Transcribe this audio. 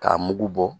K'a mugu bɔ